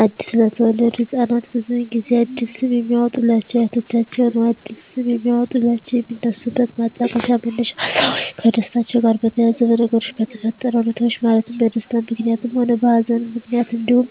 አዲስ ለተወለዱ ህፃናት ብዙውን ጊዜ አዲስ ስም የሚያወጡሏቸው አያቶቻቸውን ነው አዲስ ስም የሚያወጧላቸው የሚነሱበት ማጣቀሻ መነሻ ሀሳቦች ከደስታቸው ጋር በተያያዘ በነገሮች በተፈጠረ ሁኔታዎች ማለትም በደስታም ምክንያትም ሆነ በሀዘንም ምክንያት እንዲሁም